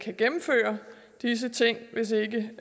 gennemføre disse ting hvis ikke